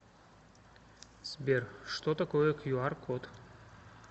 сбер что такое кью ар код